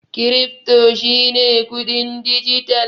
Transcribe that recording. Krifto shi ne kuɗin dijital.